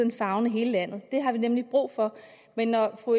at favne hele landet det har vi nemlig brug for men når fru